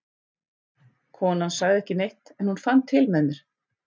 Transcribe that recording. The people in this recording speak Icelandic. Konan sagði ekki neitt, en hún fann til með mér.